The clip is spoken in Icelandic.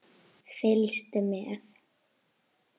Fylgstu með!